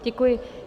Děkuji.